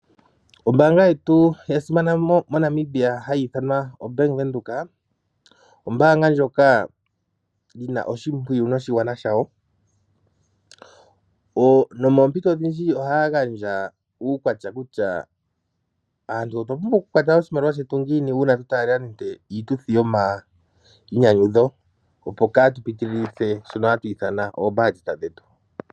Ombaanga yetu ya simana moNamibia hayi ithanwa o Bank Windhoek, ombaanga ndjoka yina oshimpwiyu noshigwana shawo. Nomoompito odhindji oha ya gandja uukwatya kutya aantu otwa pumbwa oku kwata oshimaliwa shetu ngiini, uuna aantu yena nande iituthi yoma inyanyudho, opo kaa tu pitililithe shono hatu ithana oombaandjeta dhetu.